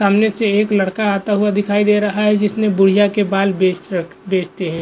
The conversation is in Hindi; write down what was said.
सामने से एक लड़का आता हुआ दिखाई दे रहा है जिसने बुढ़िया के बाल बेच र बेचते है।